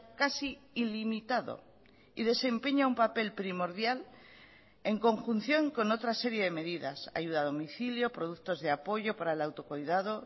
casi ilimitado y desempeña un papel primordial en conjunción con otra serie de medidas ayuda a domicilio productos de apoyo para el autocuidado